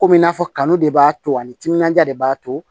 Komi i n'a fɔ kanu de b'a to ani timinandiya de b'a to